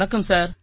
வணக்கம் சார்